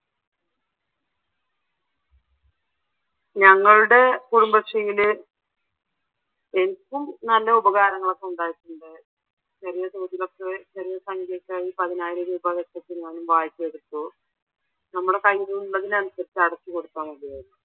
ഞങ്ങളുടെ കുടുംബശ്രീയിൽ എനിക്കും നല്ല ഉപകാരങ്ങൾ ഒക്കെ ഉണ്ടായിട്ടുണ്ട് ചെറിയ തോതിൽ ഒക്കെ ചെറിയ സംഖ്യ ഒക്കെ ആയി പതിനായിരം വായ്പ എടുത്തു നമ്മടെ കയ്യിൽ ഉള്ളത്തിനനുസരിച് അടച്ചുകൊടുത്താൽ മതിയായിരുന്നു.